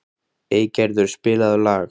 Eygerður, spilaðu lag.